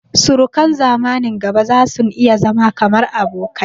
Surukan zamanin gaba zasun iya zama kamar abokai